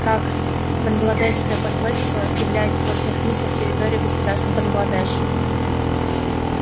как бангладешское посольство является во всех смыслах территорией государства бангладеш